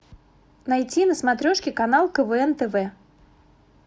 найти на смотрешке канал квн тв